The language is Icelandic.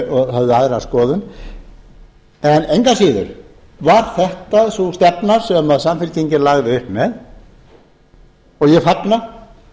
höfðu aðra skoðun engu að síður var þetta sú stefna sem samfylkingin lagði upp með og ég fagna